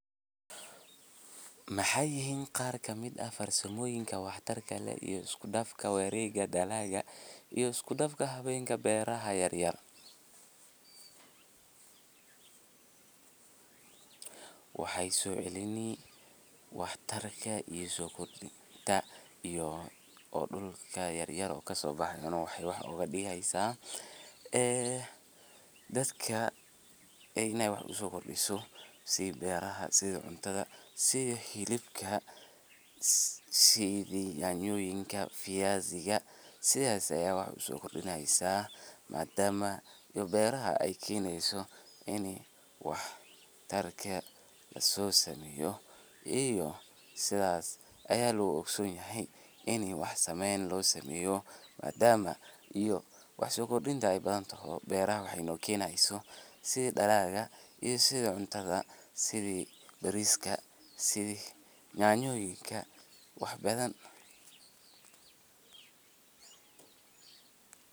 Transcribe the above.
Maxey yihin qaar ka mid ah farsamoyinka wax tarka leh iyo iskudafka warega dalaga iyo isku dafka hawenka beraha yaryar. Waxay so celini wax tarka iyo sokor dinta oo dhulka yaryar kasobaxaya inay wax oga digeysa ee dadka aa iney wax uso kordiso si beraha, si cuntada sidha xilibka, sidha yanyokinka, sidha fiyasiga sidhas ayey wax uso kordini heysa madama dhul beraha ay keneyso ini wax tarka lasosameyo iyo sidhas ayaa lagu ogson yahay ini wax sameyn losameyo madama iyo wax so kordinta ay badan taho beraha waxey no kenayso sidhi dalaga iyo sidhi cuntada, sidhi bariska, sidhi yanyoyinka wax badan.